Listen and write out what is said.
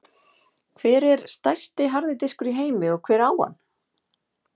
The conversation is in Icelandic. Hver er stærsti harði diskur í heimi og hver á hann?